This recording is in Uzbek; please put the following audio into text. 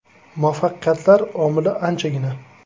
Muvaffaqiyatlar omili anchagina.